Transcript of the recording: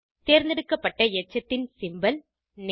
தேர்ந்தெடுக்கப்பட்ட எச்சத்தின் symbol name